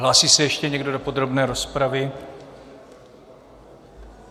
Hlásí se ještě někdo do podrobné rozpravy?